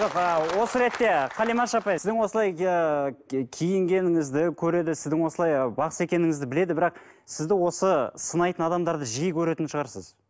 жоқ ыыы осы ретте қалимаш апай сіздің осылай ыыы киінгеніңізді көреді сіздің осылай бақсы екеніңізді біледі бірақ сізді осы сынайтын адамдарды жиі көретін шығарсыз